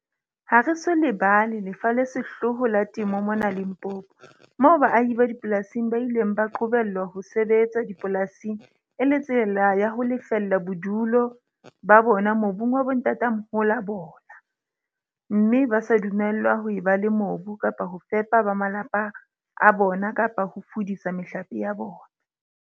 Ha re so lebala lefa le sehloho la temo mona Limpopo, moo baahi ba dipolasing ba ileng ba qobellwa ho sebetsa dipolasing e le tsela ya ho lefella bodulo ba bona mobung wa bontatamoholo ba bona, mme ba sa dumellwa ho eba le mobu kapa ho fepa ba malapa a bona kapa ho fulisa mehlape ya bona.